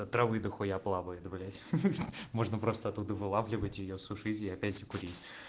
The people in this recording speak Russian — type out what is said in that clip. травы дахуя плавает блять можно просто оттуда вылавливать её сушить и опять курить